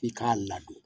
I k'a ladon